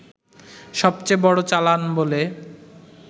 সবচেয়ে বড় চালান বলে